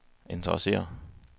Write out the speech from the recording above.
interesserer